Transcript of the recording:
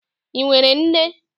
Ị nwere nne?